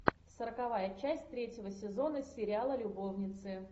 сороковая часть третьего сезона сериала любовницы